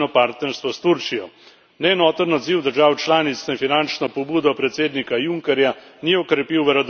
Neenoten odziv držav članic na finančno pobudo predsednika Junckerja ni okrepil verodostojnosti evropske zveze.